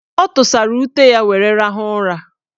Ọ tụsara ute were rahụ ụra.